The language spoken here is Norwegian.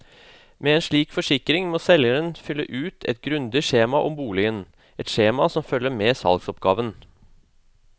Med en slik forsikring må selgeren fylle ut et grundig skjema om boligen, et skjema som følger med salgsoppgaven.